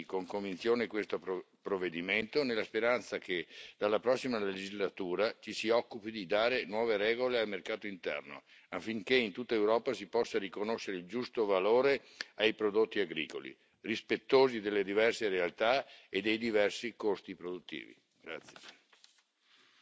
Appoggiamo quindi con convinzione questo provvedimento, nella speranza che, dalla prossima legislatura, ci si occupi di dare nuove regole al mercato interno, affinché in tutta Europa si possa riconoscere il giusto valore ai prodotti agricoli, rispettosi delle diverse realtà e dei diversi costi produttivi.